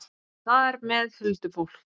Og þar með huldufólk?